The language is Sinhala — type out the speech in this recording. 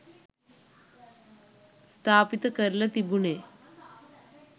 ස්ථාපිත කරල තිබුණෙ.